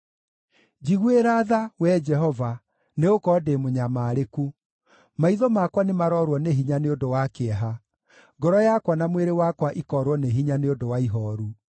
Njiguĩra tha, Wee Jehova, nĩgũkorwo ndĩ mũnyamarĩku; maitho makwa nĩmaroorwo nĩ hinya nĩ ũndũ wa kĩeha, ngoro yakwa na mwĩrĩ wakwa ikoorwo nĩ hinya nĩ ũndũ wa ihooru.